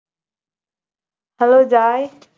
hello Joy